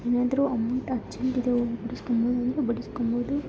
ಏನಾದ್ರೂ amount urgent ಇದೆ ಓಗ್ ಬಿಡುಸ್ಕೊಂಬೋದು ಅಂದ್ರು ಬಿಡುಸ್ಕೊಂಬೋದು.